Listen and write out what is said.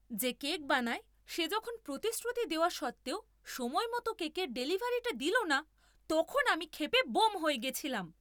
যে কেক বানায় সে যখন প্রতিশ্রুতি দেওয়া সত্ত্বেও সময়মতো কেকের ডেলিভারিটা দিল না, তখন আমি ক্ষেপে ব্যোম হয়ে গেছিলাম।